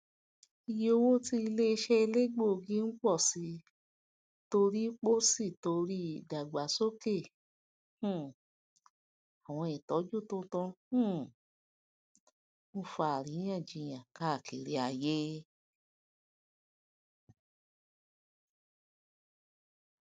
ìyé owó tí iléiṣẹ elegbogi ń pọ sí torí pọ sí torí ìdàgbàsókè um àwọn ìtọjú tuntun um ń fà aríyànjiyàn káàkiri ayé